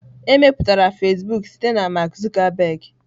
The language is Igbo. Emepụtara Fasịbụk site na Mark Zuckerberg.